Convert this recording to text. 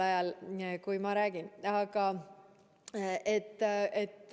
Ta on nii hea näitleja.